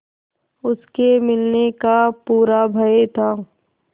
उसके मिलने का पूरा भय था